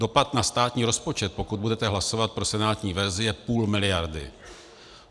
Dopad na státní rozpočet, pokud budete hlasovat pro senátní verzi, je půl miliardy.